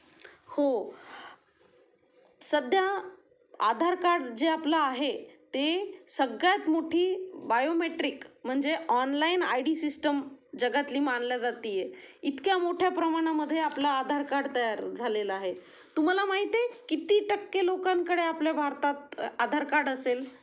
हो सद्धयाआधार कार्ड जे आपलं आहे ते सगळ्यात मोठी बाओमॅट्रिक म्हणजे ऑनलाइन आय डी सिस्टम जगातली मानली जातीये, इतक्या मोठ्या प्रमाणामध्ये आपलंआधार कार्ड तैयार झालेलं आहे. तुम्हाला माहित आहे किती टक्के लोकांकडे आपल्या भारतात आधार कार्ड असेल.